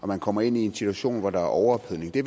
man kommer ind i en situation hvor der er overophedning det